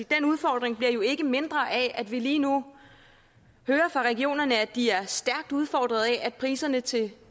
den udfordring bliver jo ikke mindre af at vi lige nu hører fra regionerne at de er stærkt udfordret af at priserne til